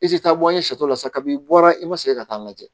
I ti taa bɔ an ye sɛ tɔ la sa kabin'i bɔra i ma segin ka taa lajɛ